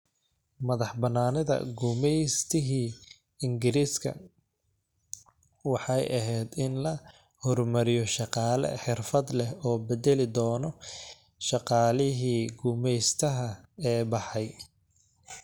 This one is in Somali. Madaxbanaanida gumaystihii Ingiriiska, waxay ahayd in la horumariyo shaqaale xirfad leh oo bedeli doona shaqaalihii gumaystaha ee baxay.